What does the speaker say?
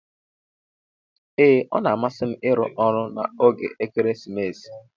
Ee ọna amasim irụ ọrụ na oge ekeresimesi.